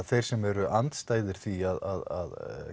þeir sem voru andstæðir því að